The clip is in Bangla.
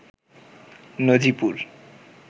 নজিপুর